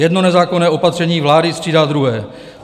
Jedno nezákonné opatření vlády střídá druhé.